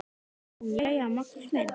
JÓN: Jæja, Magnús minn!